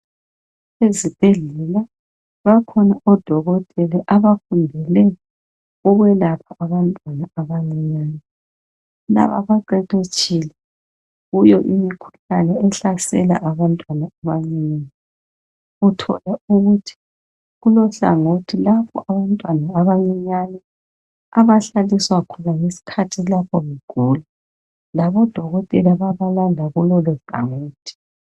Ezibhedlela bakhona odokotela abafundele ukwelapha abantwana abancinyane. Laba baqeqetshile kuyo imikhuhlane ehlasela abantwana abancinyane, uthola ukuthi kulohlangothi lapho abantwana abancinyane abahlaliswa khona ngesikhathi lapho ngigula. Labo dokotela babalanda kulolu gawuthi.